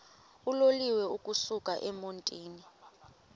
uloliwe ukusuk emontini